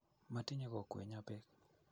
matinyei kokwenyo beek